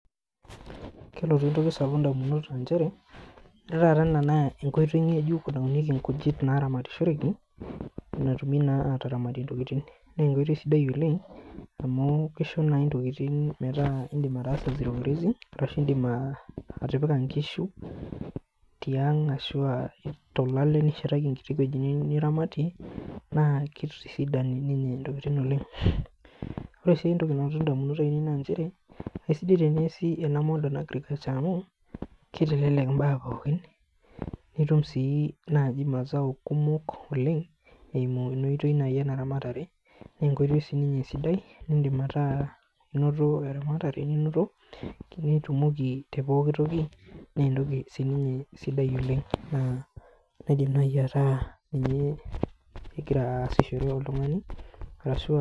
Kelotu etoki sapuk indamunot ah nchere . Ore taata ena naa enkoitoi ngejuk naitainyueki ikujit naramatishoreki netumii naa ataramat intokitin. Nee enkoitoi sidai oleng amu, kisho naaji intokitin metaa indim ataasa zero grazing ashu, indim atipika inkishu tiang ashu, olale nishetaki enkiti wueji niramatie naa kitisidan ina tokitin oleng. Ore sii etoki nadamu tenewueji naa nchere esidai teneasi ena modern agriculture amu, kitelelek imbaa pookin, nitum sii naaji imasao kumok oleng eimu ena oitoi naaji eramatare enkoitoi naaji sininye sidai nidim ataa inoto eramatare ninoto, tenitumoki pooki toki naa etoki sininye sidai naidim naaji ataa ninye egira asishore oltungani arashu, ah.